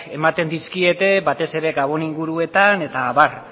ematen dizkiete batez ere gabon inguruetan eta abar